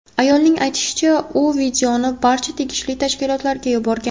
Ayolning aytishicha, u videoni barcha tegishli tashkilotlarga yuborgan.